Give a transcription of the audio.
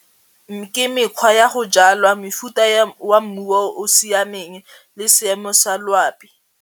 Ke mekgwa ya go jalwa mofuta wa mmu o o siameng le seemo sa loapi.